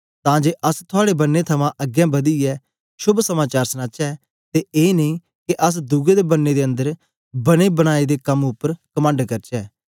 तां जे अस थुआड़े बन्ने थमां अगें बदियै शोभ समाचार सनाचै ते ए नेई के अस दुए दे बन्ने दे अन्दर बने बनाए दे कम उपर कमंड करचै